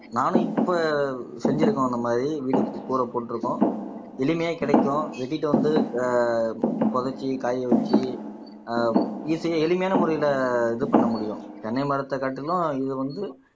நானும் இப்ப செஞ்சிருக்கோம் அந்த மாதிரி வீடு கூரை போட்டிருக்கோம் எளிமையா கிடைக்கும் வெட்டிட்டு வந்து ஆஹ் புதைச்சு காய வச்சு ஆஹ் ஈஸியா எளிமையான முறையில இது பண்ண முடியும் தென்னை மரத்த காட்டிலும் இது வந்து